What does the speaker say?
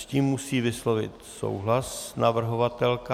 S tím musí vyslovit souhlas navrhovatelka.